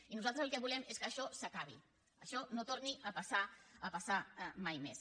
i nosaltres el que volem és que això s’acabi això no torni a passar mai més